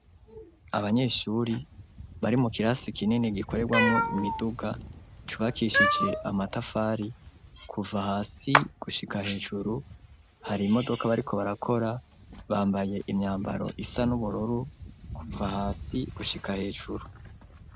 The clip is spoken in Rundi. Abanyeshuri bari mu kirasi kinini gikorerwamo imiduga cubakishije amatafari kuva hasi gushika hejuru hari imodoka bariko barakora bambaye imyambaro isa n'uburoru kuva hasi gushika hejuru